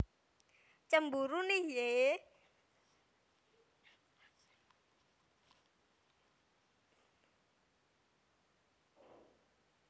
Cemburu Nih Yee